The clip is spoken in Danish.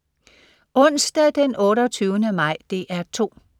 Onsdag den 28. maj - DR 2: